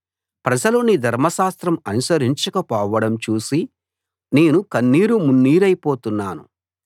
ప్రజలు నీ ధర్మశాస్త్రం అనుసరించక పోవడం చూసి నేను కన్నీరుమున్నీరైపోతున్నాను